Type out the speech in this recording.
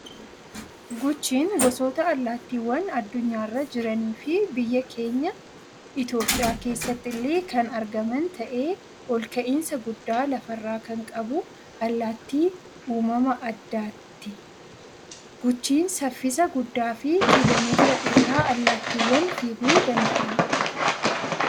Guchiin gosoota allaattiiwwan adunyaarra jiranii fii biyya keenya Itoophiyaa keessatti illee kan argaman ta'ee ol ka'insa guddaa lafarraa kan qabu allaattii uumama addaatti. Guchiin saffisa guddaa fii kiloomeetira dheeraa allaattiiwwan fiiguu danda'anidha.